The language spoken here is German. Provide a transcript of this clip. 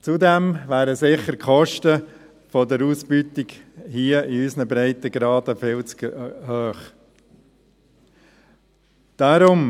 Zudem wären die Kosten für die Ausbeutung, hier in unseren Breitengraden, sicher viel zu hoch.